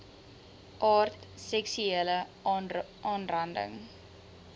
aard seksuele aanranding